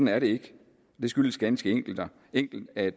er det ikke det skyldes ganske enkelt at